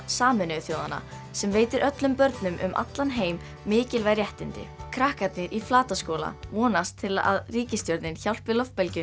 Sameinuðu þjóðanna sem veitir öllum börnum um allan heim mikilvæg réttindi krakkarnir í Flataskóla vonast til að ríkisstjórnin hjálpi